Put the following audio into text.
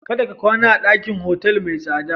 Kada ka kwana a ɗakin otal mai tsada.